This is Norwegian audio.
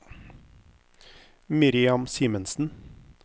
Miriam Simensen